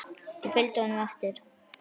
Þeir fylgdu honum eftir.